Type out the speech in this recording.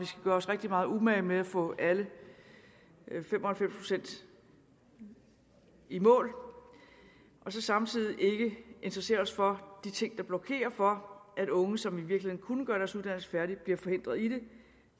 gøre os rigtig meget umage med at få alle fem og halvfems procent i mål og så samtidig ikke interessere os for de ting der blokerer for at unge som i virkeligheden kunne gøre deres uddannelse færdig bliver forhindret i det